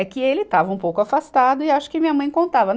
É que ele estava um pouco afastado e acho que minha mãe contava.